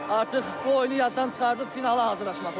Artıq bu oyunu yaddan çıxardıb finala hazırlaşmaq lazımdır.